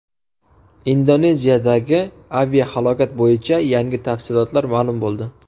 Indoneziyadagi aviahalokat bo‘yicha yangi tafsilotlar ma’lum bo‘ldi.